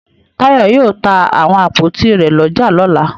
Táyọ̀ yóò ta àwọn àpótí rẹ̀ lọ́jà lọ́la.